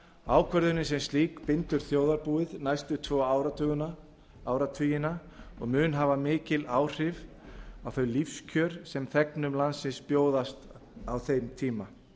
ákvörðunin sem slík bindur þjóðarbúið næstu tvo áratugina og mun hafa mikil áhrif á þau lífskjör sem þegnum landsins bjóðast á þeim tíma